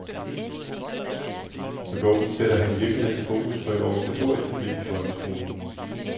Med bogen sætter han i virkeligheden fokus på et organisatorisk problem i folkeskolen.